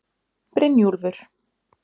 Brynjúlfur